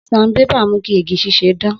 Sanbébà mu ki igi ṣiṣẹ dan.